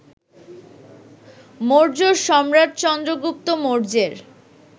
মৌর্য সম্রাট চন্দ্রগুপ্ত মৌর্যের